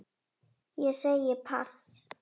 Ég segi pass.